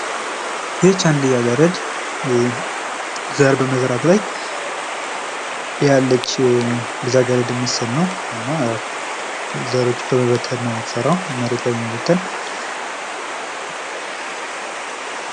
ይቺ አንድ ልጅ አገረ ዘር በመዝራት ላይ ያለች ልጅ አገረድ ምስል ነው ።እና ያው ፀሮችን መሬት ላይ በመበተን ነው እምትዘራው።